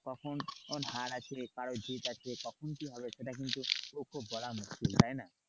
কখনো হার আছে কারোর জিৎ আছে কখন কি হবে সেটা কিন্তু খুব বলা মুশকিল তাই না।